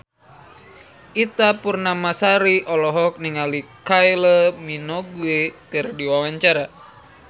Ita Purnamasari olohok ningali Kylie Minogue keur diwawancara